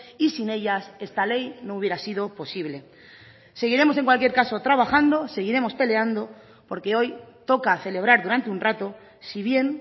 y sin ellas esta ley no hubiera sido posible seguiremos en cualquier caso trabajando seguiremos peleando porque hoy toca celebrar durante un rato si bien